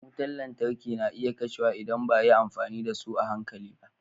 Wutar lantarki na iya kashewa idan ba a yi amfani da su a hankali ba.